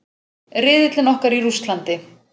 Riðillinn okkar í Rússlandi.